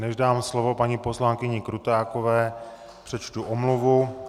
Než dám slovo paní poslankyni Krutákové, přečtu omluvu.